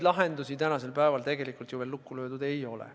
Lahendusi tänasel päeval tegelikult ju veel lukku löödud ei ole.